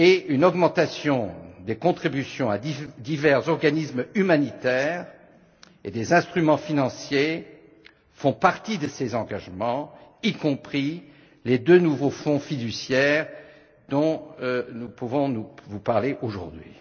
Une augmentation des contributions à divers organismes humanitaires et des instruments financiers font partie de ces engagements, y compris les deux nouveaux fonds fiduciaires dont nous pouvons vous parler aujourd'hui.